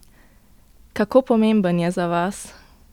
Kako pomemben je za vas?